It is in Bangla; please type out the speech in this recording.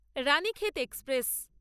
রানীক্ষেত এক্সপ্রেস